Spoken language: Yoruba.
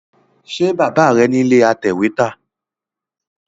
Ṣe Bàbá rẹ̀ nílé atẹ̀wẹ́tà?